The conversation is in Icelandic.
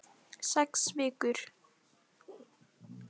Sex vikur.